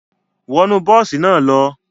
Wọnu bosi naa lo!